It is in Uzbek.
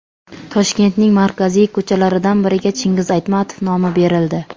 Toshkentning markaziy ko‘chalaridan biriga Chingiz Aytmatov nomi berildi.